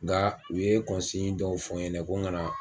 Nga u ye dɔw fɔ n ɲɛna ko n kana